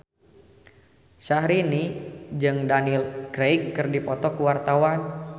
Syahrini jeung Daniel Craig keur dipoto ku wartawan